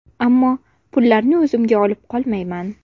Ammo pullarni o‘zimga olib qolmayman.